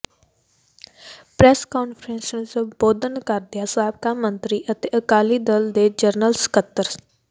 press conference ਨੂੰ ਸੰਬੋਧਨ ਕਰਦਿਆਂ ਸਾਬਕਾ ਮੰਤਰੀ ਅਤੇ ਅਕਾਲੀ ਦਲ ਦੇ ਜਨਰਲ ਸਕੱਤਰ ਸ